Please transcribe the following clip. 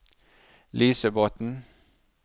Lysebotn